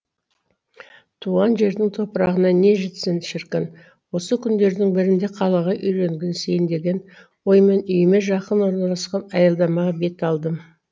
туған жердің топырағына не жетсін шіркін осы күндердің бірінде қалаға үйренгісейін деген оймен үйіме жақын орналасқан аялдамаға бет алдым